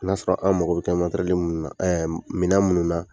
N'a sɔrɔ, an mago b'i kɛ minnu na minɛn minnu na